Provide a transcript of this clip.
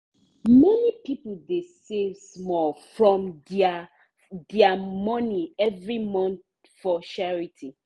many people dey save small from their their money every month for charity.